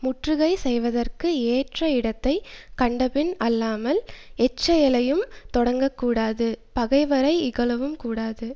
முற்றுகை செய்வதற்கு ஏற்ற இடத்தை கண்டபின் அல்லாமல் எச் செயலையும் தொடங்கக்கூடாது பகைவரை இகழவும் கூடாது